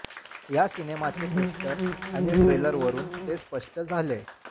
या सिनेमाचे पोस्टर आणि ट्रेलरवरून ते स्पष्ट झालेय